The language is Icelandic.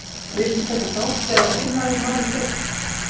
Viltu taka þátt eða kynna þér málið betur?